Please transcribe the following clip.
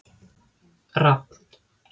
Rafn